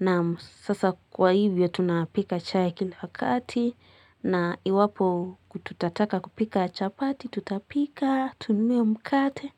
na sasa kwa hivyo, tunapika chai kila wakati na iwapo tutataka kupika chapati tutapika, tununue mkate.